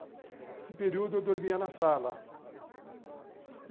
Nesse período, eu dormia na sala.